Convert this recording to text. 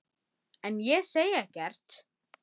En ég segi ekkert.